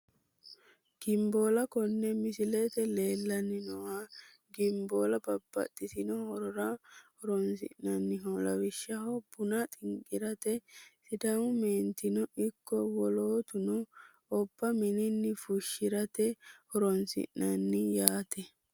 Ginboola kone misilete leelani nooha ginboola babaxitino horora hosiisi`naniho lawishshaho buna xinqirate sidaamu meentino iko wolootuno obba minini fushirate horonsinani yaate.